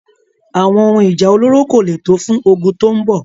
Àwọn ohun Ìjà olóró kò lè tó fún ogun tó ń bọ̀.